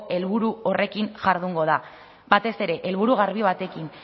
helburu horrekin jardungo da batez ere helburu garbi batekin